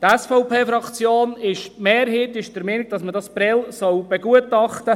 Die Mehrheit der SVP-Fraktion ist der Meinung, man solle Prêles begutachten.